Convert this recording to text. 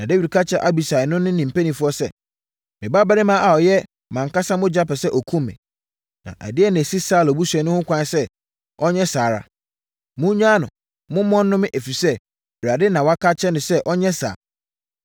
Na Dawid ka kyerɛɛ Abisai ne ne mpanimfoɔ sɛ, “Me babarima a ɔyɛ mʼankasa mogya pɛ sɛ ɔkum me. Na ɛdeɛn na ɛsi Saulo busuani ho kwan sɛ ɔnyɛ saa ara. Monnyaa no, momma ɔnnome, ɛfiri sɛ, Awurade na waka akyerɛ no sɛ ɔnyɛ saa.